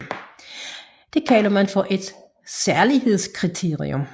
Det kalder man for et særlighedskriterium